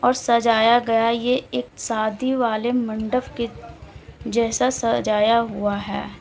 और सजाया गया ये एक शादी वाले मंडप के जैसा सजाया हुआ है।